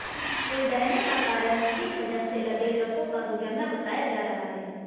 पुल ढहने का कारण अधिक वजन से लदे ट्रकों का गुजरना बताया जा रहा है